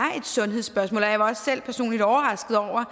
sundhedsspørgsmål jeg var også selv personligt overrasket over